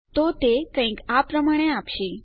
તો તે આપણને કંઈક આ પ્રમાણે આપશે